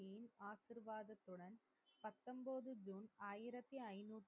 ஐந்திறத்தி,